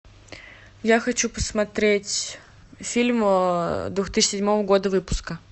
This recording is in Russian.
я хочу посмотреть фильм две тысячи седьмого года выпуска